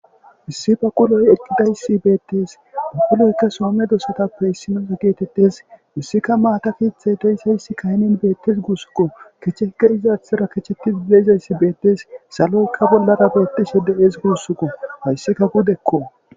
issi baquloy eqqidayssi beettes aquloykka soome dosatappe issinoza geetettes issikka maata kieththey deysayssi kaynen beettes guussukko kecheke izaathara kecheti deizayssi beettes saloykka bollara beettise de7ees guussukko hayssikka gudekko